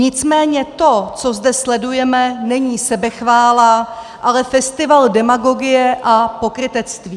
Nicméně to, co zde sledujeme, není sebechvála, ale festival demagogie a pokrytectví.